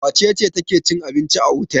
Wace ce take cin abinci a otel?